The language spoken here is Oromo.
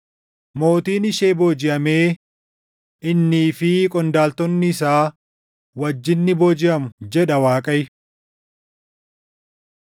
Mootiin ishee boojiʼamee innii fi qondaaltonni isaa wajjin ni boojiʼamu” jedha Waaqayyo.